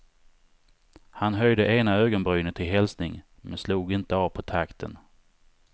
Han höjde ena ögonbrynet till hälsning, men slog inte av på takten.